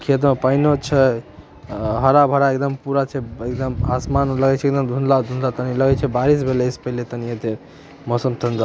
खेत मा पानी ना छए आ हरा-भरा एक धम पूरा छए एकदम आसमान लागए छै एकदम धुंदला-धुंदल तनि लगए छै बारिश भइले पाहिले तनी येते मौसम ठंडा --